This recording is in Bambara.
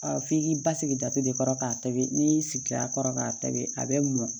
f'i k'i basigi da de kɔrɔ k'a tobi n'i y'i sigi a kɔrɔ k'a tobi a bɛ mɔn